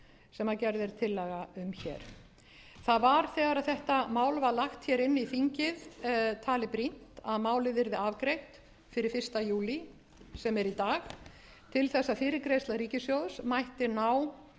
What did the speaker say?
sem gerð er tillaga um hér það var þegar þetta mál var lagt inn í þingið talið brýnt að málið yrði afgreitt fyrir fyrsta júlí sem er í dag til að fyrirgreiðsla ríkissjóðs mætti ná